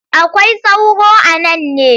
Akwai sauro a nan ne?